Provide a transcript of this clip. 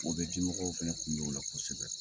O bɛ dimɔgɔw fana kun bɛ o la kosɛbɛ